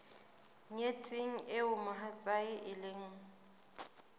nyetsweng eo mohatsae e leng